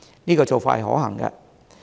這個做法是可行的。